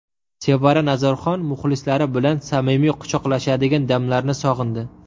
Sevara Nazarxon muxlislari bilan samimiy quchoqlashadigan damlarni sog‘indi.